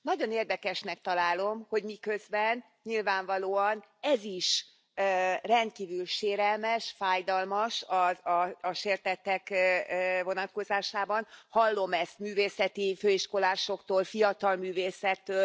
Nagyon érdekesnek találom, hogy miközben nyilvánvalóan ez is rendkívül sérelmes, fájdalmas a sértettek vonatkozásában hallom ezt művészeti főiskolásoktól, fiatal művészektől.